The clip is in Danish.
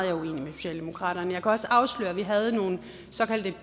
er uenig med socialdemokratiet jeg kan også afsløre at vi havde nogle såkaldte